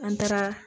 An taara